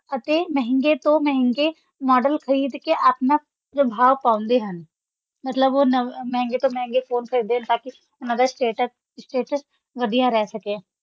ਅਤੇ ਮਹਿੰਗੇ ਤੋਂ ਮਹਿੰਗੇ model ਖ਼ਰੀਦ ਕੇ ਆਪਣਾ ਪ੍ਰਭਾਵ ਪਾਉਂਦੇ ਹਨ, ਮਤਲਬ ਉਹ ਨਵ~ ਮਹਿੰਗੇ ਤੋਂ ਮਹਿੰਗੇ phone ਖ਼ਰੀਦਦੇ ਨੇ ਤਾਂ ਕਿ ਉਹਨਾਂ ਦਾ status status ਵਧੀਆ ਰਹਿ ਸਕੇ।